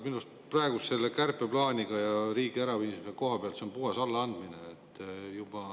Minu arust on selle kärpeplaaniga riigi äraviimine kohapealt puhas allaandmine.